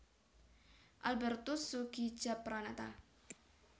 Albertus Soegijapranata